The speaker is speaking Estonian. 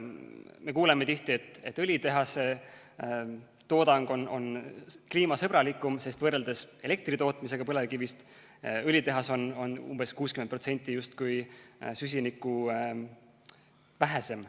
Me kuuleme tihti, et õlitehase toodang on kliimasõbralikum, sest võrreldes elektri tootmisega on põlevkiviõlitehas umbes 60% justkui süsinikuvähesem.